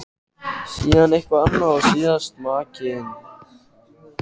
Síðan eitthvað annað og síðast makinn.